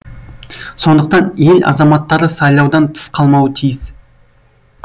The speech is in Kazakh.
сондықтан ел азаматтары сайлаудан тыс қалмауы тиіс